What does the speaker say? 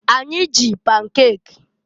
Anyị ji pankek.